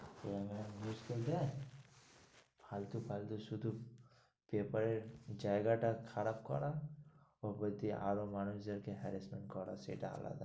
ফালতু ফালতু শুধু paper জায়গাটা খারাপ করা উপর দিয়ে আরো মানুষ যাতে harresment করা সেটা আলাদা,